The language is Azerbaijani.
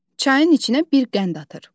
Çayın içinə bir qənd atır.